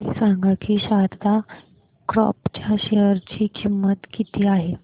हे सांगा की शारदा क्रॉप च्या शेअर ची किंमत किती आहे